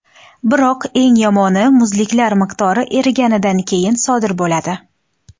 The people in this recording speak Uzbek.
Biroq, eng yomoni, muzliklar miqdori eriganidan keyin sodir bo‘ladi.